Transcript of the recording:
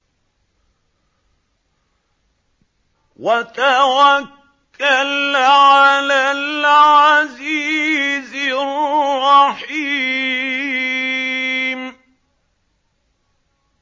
وَتَوَكَّلْ عَلَى الْعَزِيزِ الرَّحِيمِ